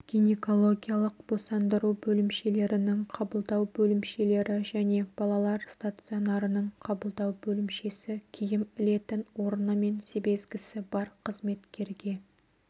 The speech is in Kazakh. гинекологиялық босандыру бөлімшелерінің қабылдау бөлімшелері және балалар стационарының қабылдау бөлімшесі киім ілетін орны мен себезгісі бар қызметкерге